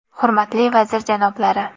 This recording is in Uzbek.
Hurmatli vazir janoblari!